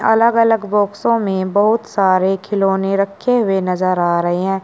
अलग अलग बॉक्सो में बहुत सारे खिलौने रखे हुए नजर आ रहे हैं।